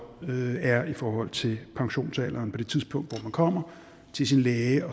er i forhold til pensionsalderen på det tidspunkt hvor man kommer til sin læge